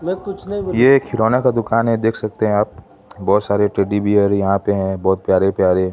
ये एक खिलौनों दुकान है देख सकते हैं आप बहोत सारे टेडी बेयर यहां पे हैं बहोत प्यारे प्यारे।